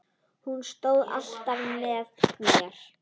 Hún stóð alltaf með mér.